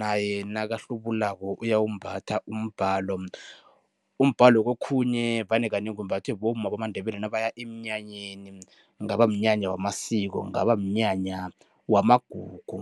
naye nakahlubulako uyawumbatha umbhalo. Umbhalo kokhunye vane kanengi umbathwe bomma bamaNdebele nabaya emnyanyeni, kungaba mnyanya wamasiko, kungaba mnyanya wamagugu.